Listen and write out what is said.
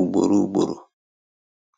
ugboro ugboro.